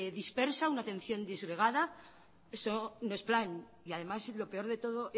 dispersa una atención disgregada eso no es plan y además lo peor de todo